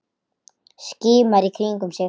Skimar í kringum sig.